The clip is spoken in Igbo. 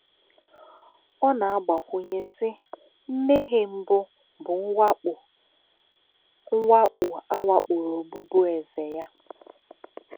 Ọ na-agbakwụnye, sị: “ Mmehie mbụ bụ mwakpo a mwakpo a wakporo ọbụbụeze ya.”